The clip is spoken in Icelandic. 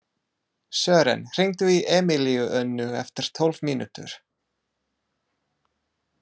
Sören, hringdu í Emilíönnu eftir tólf mínútur.